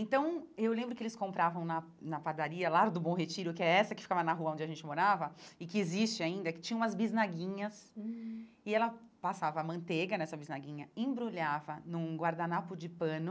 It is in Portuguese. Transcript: Então, eu lembro que eles compravam na na padaria, lá do Bom Retiro, que é essa que ficava na rua onde a gente morava e que existe ainda, que tinha umas bisnaguinhas hum e ela passava manteiga nessa bisnaguinha, embrulhava num guardanapo de pano